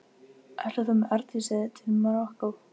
Ætlar þú með Arndísi til Marokkó?